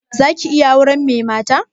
Za ki iya auren mai mata?